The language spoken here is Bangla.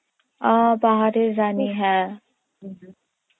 ও পাহাড়ের রানী হ্যাঁ